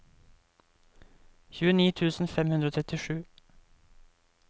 tjueni tusen fem hundre og trettisju